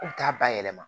K'u t'a bayɛlɛma